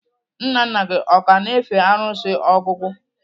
Nna nna gị o ka na-efe arụsị ogwugwu?